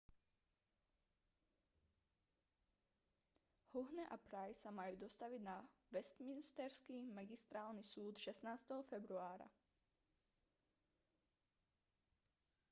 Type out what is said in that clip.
huhne a pryce sa majú dostaviť na westminsterský magistrátny súd 16. februára